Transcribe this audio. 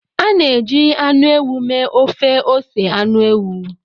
A na-eji anụ ewu mee ofe ose anụ ewu.